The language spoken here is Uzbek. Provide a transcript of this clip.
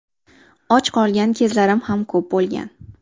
Och qolgan kezlarim ham ko‘p bo‘lgan.